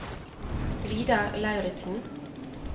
Vidar Lauritzen